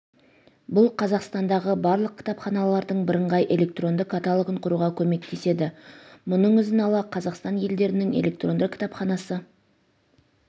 бұл қазақстандағы барлық кітапханалардың бірыңғай электронды каталогын құруға көмектеседі мұның ізін ала қазақстан елдерінің электронды кітапханасы